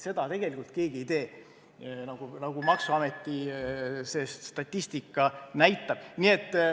Seda tegelikult keegi ei tee, nagu ka maksuameti statistika näitab.